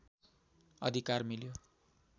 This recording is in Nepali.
अधिकार मिल्यो